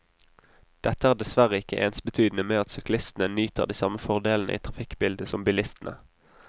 Dette er dessverre ikke ensbetydende med at syklistene nyter de samme fordelene i trafikkbildet som bilistene.